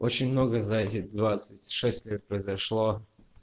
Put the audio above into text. очень много за эти двадцать шесть лет произошло